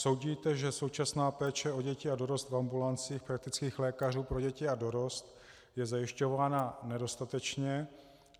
Soudíte, že současná péče o děti a dorost v ambulancích praktických lékařů pro děti a dorost je zajišťována nedostatečně?